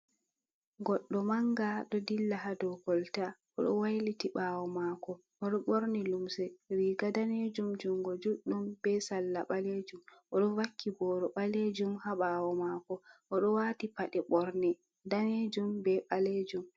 Goɗɗo manga ɗo ɗilla ha ɗou golta, oɗo wailiti ɓawo mako oɗo ɓorni lumse riga ɗanejum jungo juɗɗum ɓe salla ɓalejum ,oɗo vakki ɓoro ɓalejum ha ɓawo mako oɗo wati paɗe ɓorne ɗanejum ɓe ɓalejum.